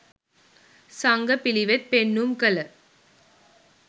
සංඝ පිළිවෙත් පෙන්නුම් කළ